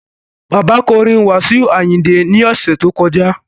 Bàbá kọ orin Wasiu Ayinde ní ọ̀sẹ̀ tó kọjá